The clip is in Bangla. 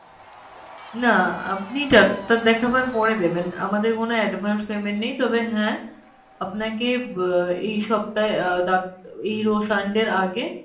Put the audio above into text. না আপনি ডাক্তার দেখাবার পরে দেবেন আমাদের কোনো advance payment নেই, তবে হ্যাঁ আপনাকে আহ এই সপ্তাহে আহ এই রো sunday এর আগে